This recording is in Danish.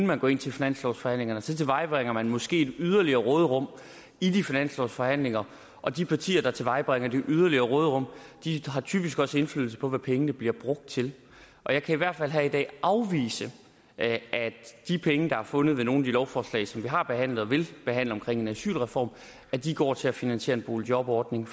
man går ind til finanslovsforhandlingerne så tilvejebringer man måske et yderligere råderum i de finanslovsforhandlinger og de partier der tilvejebringer det yderligere råderum har typisk også indflydelse på hvad pengene bliver brugt til jeg kan i hvert fald her i dag afvise at de penge der er fundet ved nogle af de lovforslag som vi har behandlet og vil behandle omkring en asylreform går til at finansiere en boligjobordning